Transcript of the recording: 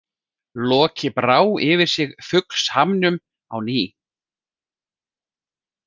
Loki brá yfir sig fuglshamnum á ný.